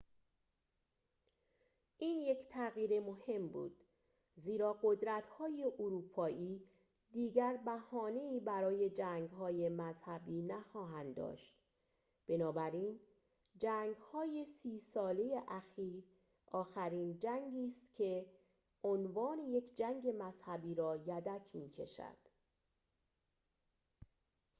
این یک تغییر مهم بود زیرا قدرت‌های اروپایی دیگر بهانه‌ای برای جنگ‌های مذهبی نخواهند داشت بنابراین جنگ‌های سی ساله آخرین جنگی است که عنوان یک جنگ مذهبی را یدک می‌کشد